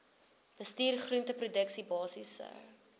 bestuur groenteproduksie basiese